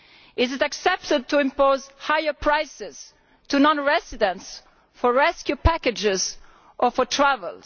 Is it acceptable to impose higher prices on non residents for rescue packages or for travel?